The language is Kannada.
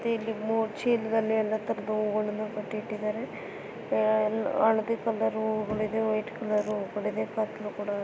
ಮತ್ತೆ ಇಲ್ಲಿ ಮೂರ್ ಚೀಲದಲ್ಲಿ ಎಲ್ಲ ತರಹದ ಹೂಗಳನ್ನೂ ಕಟ್ಟಿ ಇಟ್ಟಿದಾರೆ. ಆಹ್ ಹಳದಿ ಕಲರ್ ಹೂಗಳು ಇದೆ. ವೈಟ್ ಕಲರ್ ಹೂಗಳು ಇದೆ. ಕತ್ತಲೂ ಕೂಡ ಆಗಿದೆ.